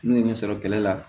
N'u ye ne sɔrɔ kɛlɛ la